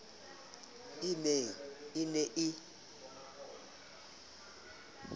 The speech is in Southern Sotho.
e meng e ne e